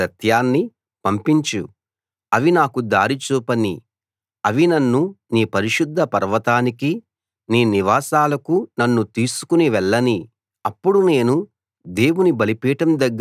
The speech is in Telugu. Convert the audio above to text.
నీ వెలుగునూ నీ సత్యాన్నీ పంపించు అవి నాకు దారి చూపనీ అవి నన్ను నీ పరిశుద్ధ పర్వతానికీ నీ నివాసాలకూ నన్ను తీసుకు వెళ్ళనీ